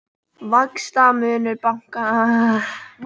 Vaxtamunur bankanna hækkar